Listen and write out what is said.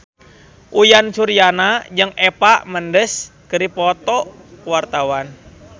Uyan Suryana jeung Eva Mendes keur dipoto ku wartawan